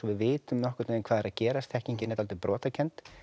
við vitum nokkurn veginn hvað er að gerast þekkingin er dálítið brotakennd